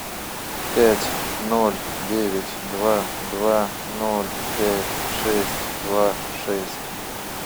пять ноль девять два два ноль пять шесть два шесть